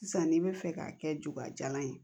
Sisan n'i bɛ fɛ k'a kɛ jugajalan ye